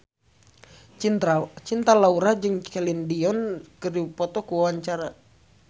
Cinta Laura jeung Celine Dion keur dipoto ku wartawan